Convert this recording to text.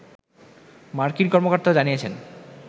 মার্কিন কর্মকর্তারা জানিয়েছেন